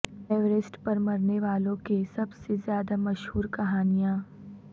Everest پر مرنے والوں کے سب سے زیادہ مشہور کہانیاں